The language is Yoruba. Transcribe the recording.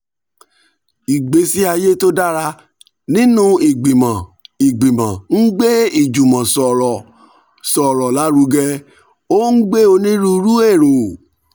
ìgbésí ayé tó dára nínú ìgbìmọ̀ ìgbìmọ̀ ń gbé ìjùmọ̀sọ̀rọ̀sọ̀rọ̀ lárugẹ ó ń gbé onírúurú èrò